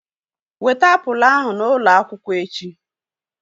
Weta apụl ahu n'ụlọ akwụkwọ echi!